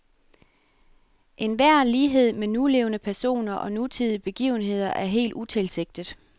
Enhver lighed med nulevende personer og nutidige begivenheder er helt utilsigtet.